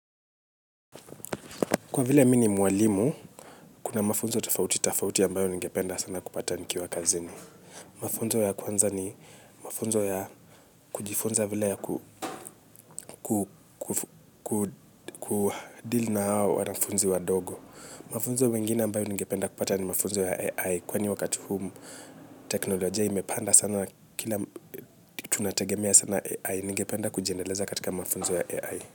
Kwa vile mini mwalimu, kuna mafunzo tofauti tofauti ambayo ningependa sana kupata nikiwa kazini. Mafunzo ya kwanza ni mafunzo ya kujifunza vile ya kudilu na hawo wananafunzi wadogo. Mafunzo mengine ambayo ningependa kupata ni mafunzo ya AI kwenye wakati teknolojia imepanda sana kina tunategemea sana AI ningependa kujiendeleza katika mafunzo ya AI.